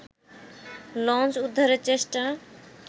launch উদ্ধারের চেষ্টা